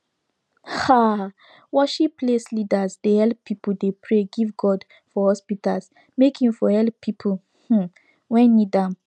aah worship place leaders dey helep pipu dey pray give god for hospitas make him for helep pipu um wen need am